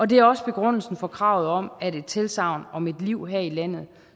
det er også begrundelsen for kravet om at et tilsagn om et liv her i landet